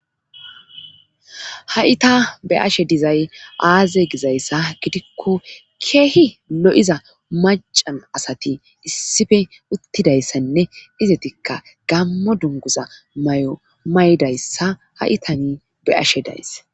ha'i ta be'ashe dizay aaze gizayssa gidikko keehi lo'iza macan asati issife uttidayssanne izetikka gammo dunguza mayo maydayssa ha'itani be'ashe daysse